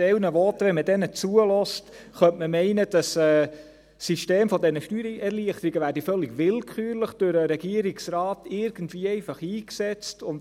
Wenn man einige Voten hört, könnte man meinen, dass das System der Steuererleichterungen völlig willkürlich irgendwie durch den Regierungsrat eingesetzt wird.